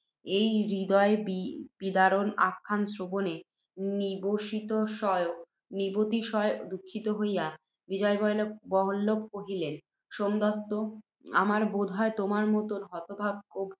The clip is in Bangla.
এই হৃদয়বিদারণ আখ্যান শ্রবণে নিবতিশয় দুঃখিত হইয়া বিজয়বল্লভ কহিলেন, সোমদত্ত! আমার বোধ হয়, তোমার মত হতভাগ্য